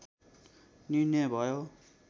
निर्णय भयो